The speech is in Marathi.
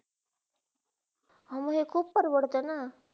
हो, म हे खूप पडवरतेना.